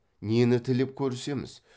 нені тілеп көрісеміз